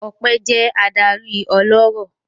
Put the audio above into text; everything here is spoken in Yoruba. Ọpẹ́ jẹ́ adarí ọlọ́rọ̀.